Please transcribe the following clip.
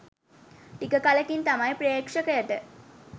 ටික කලකින් තමයි ප්‍රේක්ෂකයට